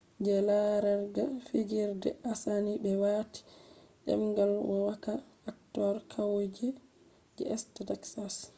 je larerga fijirde asani be wati dendal vowaka actors kauye je east texas